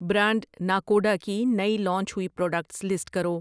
Brand Nakoda کی نئی launch ہوئی پراڈکٹس لسٹ کرو ؟